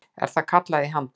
er það kallað í handbókum.